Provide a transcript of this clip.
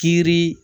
Kiiri